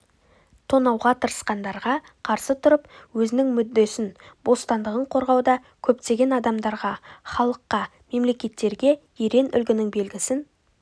тонауға тырысқандарға қарсы тұрып өзінің мүддесін бостандығын қорғауда көптеген адамдарға халыққа мемлекеттерге ерен үлгінің белгісін